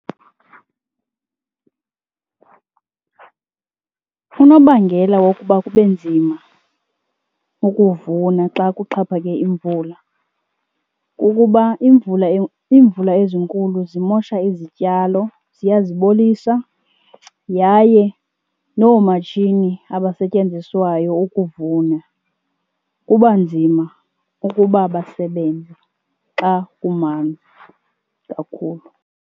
Unobangela wokuba kube nzima ukuvuna xa kuxhaphake imvula kukuba imvula , iimvula ezinkulu zimosha izityalo ziyazibolisa yaye noomatshini abasetyenziswayo ukuvuna kuba nzima ukuba basebenze xa kumanzi kakhulu.